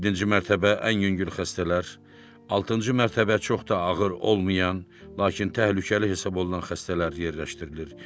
Yeddinci mərtəbə ən yüngül xəstələr, altıncı mərtəbə çox da ağır olmayan, lakin təhlükəli hesab olunan xəstələr yerləşdirilir.